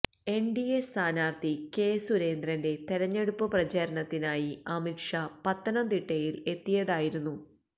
NDA സ്ഥാനാർഥി K സുരേന്ദ്രന്റെ തെരഞ്ഞെടുപ്പ് പ്രചാരണത്തിനായി അമിത്ഷാ പത്തനംതിട്ടയിൽ എത്തിയതായിരുന്നു